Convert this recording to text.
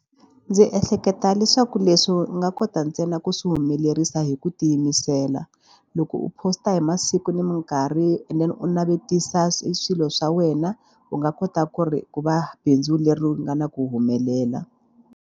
Dzi ehleketa leswaku leswi u nga kota ntsena ku swi humelerisa hi ku tiyimisela. Loko u post a hi masiku ni mikarhi and then u navetisa swilo swa wena u nga kota ku ri ku va bindzu leri nga na ku humelela.